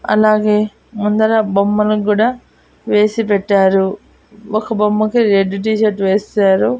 అలాగే ముందర బొమ్మలకి కూడా వేసి పెట్టారు ఒక బొమ్మకి రెడ్ టీషర్ట్ వేశారు.